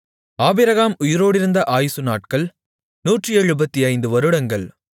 Abraham உயிரோடிருந்த ஆயுசு நாட்கள் 175 வருடங்கள்